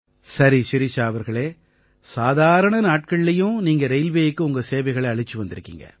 சரி ஷிரிஷா அவர்களே சாதாரண நாட்கள்லயும் நீங்க ரெயில்வேயுக்கு உங்க சேவைகளை அளிச்சு வந்திருக்கீங்க